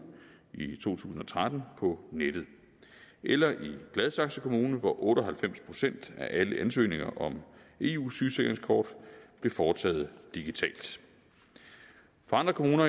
i to tusind og tretten på nettet eller i gladsaxe kommune hvor otte og halvfems procent af alle ansøgninger om eu sygesikringskort blev foretaget digitalt for andre kommuner